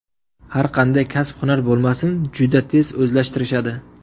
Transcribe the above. Har qanday kasb-hunar bo‘lmasin, juda tez o‘zlashtirishadi.